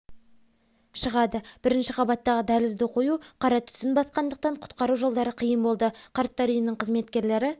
шығады бірінші қабаттағы дәлізді қою қарат түтін басқандақтан құтқару жолдары қиын болды қарттар үйінің қызметкерлері